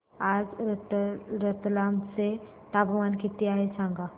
आज रतलाम चे तापमान किती आहे सांगा